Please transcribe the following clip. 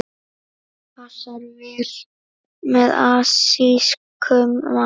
Passar vel með asískum mat.